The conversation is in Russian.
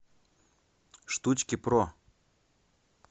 штучкипро